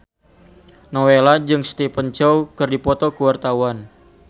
Nowela jeung Stephen Chow keur dipoto ku wartawan